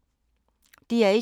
DR1